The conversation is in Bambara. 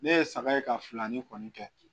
Ne ye saga ye ka filani kɔni kɛ